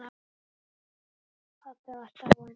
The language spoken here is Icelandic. Pabbi var dáinn.